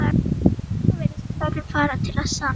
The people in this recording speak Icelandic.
Í raun virðist ferðin farin til að sann